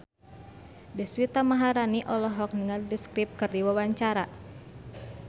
Deswita Maharani olohok ningali The Script keur diwawancara